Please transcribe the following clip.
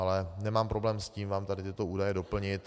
Ale nemám problém s tím vám tady tyto údaje doplnit.